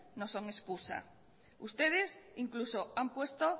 no son excusa ustedes incluso han puesto